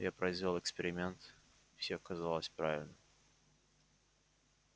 я произвёл эксперимент и всё оказалось правильно